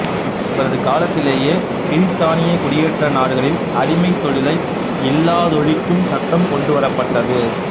இவரது காலத்திலேயே பிரித்தானியக் குடியேற்ற நாடுகளில் அடிமைத் தொழிலை இல்லாதொழிக்கும் சட்டம் கொண்டு வரப்பட்டது